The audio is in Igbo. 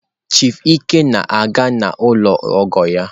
Chief ike na-aga n'ụlọ ọgọ ya.